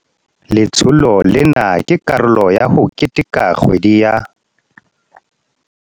Letsholo lena ke karolo ya ho keteka kgwedi ya